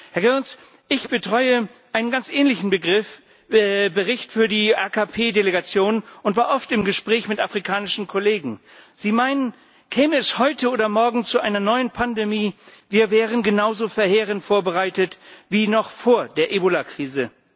Herr Goerens, ich betreue einen ganz ähnlichen Bericht für die AKP Delegation und war oft im Gespräch mit afrikanischen Kollegen. Sie meinen, käme es heute oder morgen zu einer neuen Pandemie, wir wären genauso verheerend vorbereitet wie noch vor der Ebola Krise.